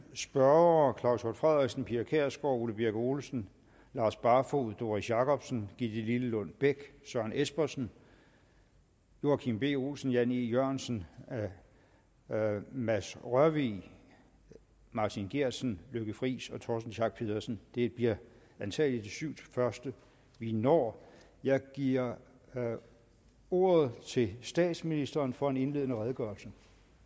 spørgere claus hjort frederiksen pia kjærsgaard ole birk olesen lars barfoed doris jakobsen gitte lillelund bech søren espersen joachim b olsen jan e jørgensen mads rørvig martin geertsen lykke friis torsten schack pedersen det bliver antagelig de syv første vi når jeg giver ordet til statsministeren for en indledende redegørelse